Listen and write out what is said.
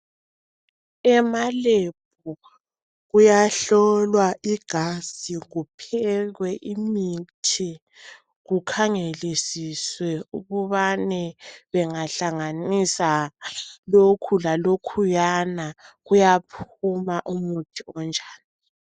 Emalebhu kuyahlolwa igazi, kuphekwe imithi kukhangelisiswe ukubane bengahlanganisa lokhu lalokhuyana kuyaphuma umuthi onjani.